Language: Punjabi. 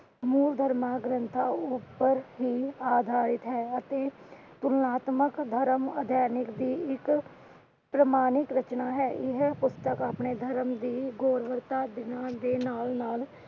ਮੂਲ ਧਰਮਾਂ ਗ੍ਰੰਥਾਂ ਉੱਪਰ ਹੀ ਅਧਾਰਿਤ ਹੈ। ਅਤੇ ਪੁਰੁਨਾਤ੍ਮਕ ਧਰਮ ਦੀ ਇੱਕ ਪ੍ਰਮਾਣਿਤ ਰਚਨਾ ਹੈ। ਇਹ ਪੁਸਤਕ ਆਪਣੇ ਧਰਮ ਦੀ ਗੋਵਰਤਾ ਦੇ ਨਾਲ ਦੇ ਨਾਲ ਨਾਲ